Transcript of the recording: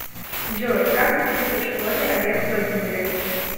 джой как учился в школе олег владимирович